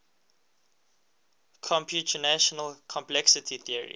computational complexity theory